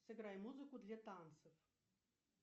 сыграй музыку для танцев